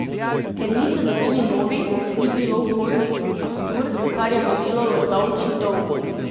Ker niso dobili novih, ni bilo vhodnih faktur, kar je vodilo v davčni dolg.